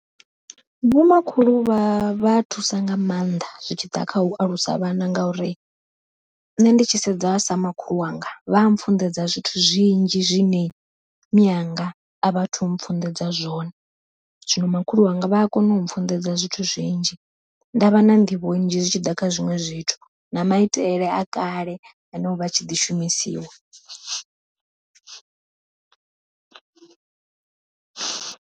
Vho makhulu vha vha thusa nga maanḓa zwi tshi ḓa kha u alusa vhana, ngauri nṋe ndi tshi sedza sa makhulu wanga vha a pfhunḓedza zwithu zwinzhi zwine mianga a vhathu pfhunḓedza zwone. Zwino makhulu wanga vha a kona u pfhunḓedza zwithu zwinzhi, nda vha na nḓivho nzhi zwi tshi ḓa kha zwiṅwe zwithu na maitele a kale ane ovha a tshi ḓi shumisiwa.